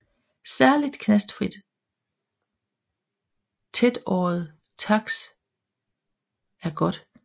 Særligt knastfrit tætåret taks er godt